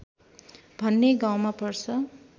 भन्ने गाउँमा पर्छ